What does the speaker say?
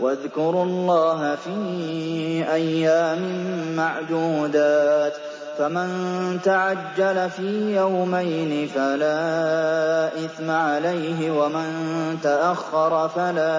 ۞ وَاذْكُرُوا اللَّهَ فِي أَيَّامٍ مَّعْدُودَاتٍ ۚ فَمَن تَعَجَّلَ فِي يَوْمَيْنِ فَلَا إِثْمَ عَلَيْهِ وَمَن تَأَخَّرَ فَلَا